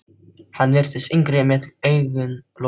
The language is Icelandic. Hann virtist yngri með augun lokuð.